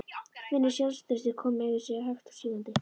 Finnur sjálfstraustið koma yfir sig hægt og sígandi.